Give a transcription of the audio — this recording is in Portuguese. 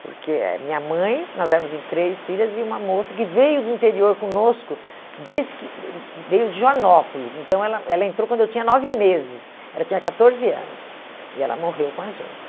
Porque eh minha mãe, nós éramos em três filhas, e uma moça que veio do interior conosco, desde que veio de Joanópolis, então ela ela entrou quando eu tinha nove meses, ela tinha catorze anos, e ela morreu com a gente.